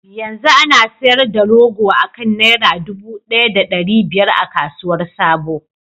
Yanzu ana sayar da rogo akan naira dubu daya da dari biyar a kasuwar sabo.